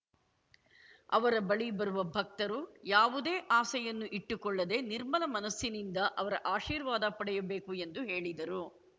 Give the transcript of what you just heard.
ಅವರ ಬಳಿ ಬರುವ ಭಕ್ತರು ಯಾವುದೇ ಆಸೆಯನ್ನು ಇಟ್ಟುಕೊಳ್ಳದೇ ನಿರ್ಮಲ ಮನಸ್ಸಿನಿಂದ ಅವರ ಆಶೀರ್ವಾದ ಪಡೆಯಬೇಕು ಎಂದು ಹೇಳಿದರು